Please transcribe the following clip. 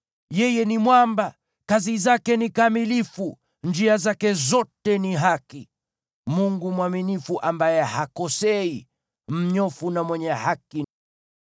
Yeye ni Mwamba, kazi zake ni kamilifu, njia zake zote ni haki. Mungu mwaminifu ambaye hakosei, yeye ni mnyofu na mwenye haki.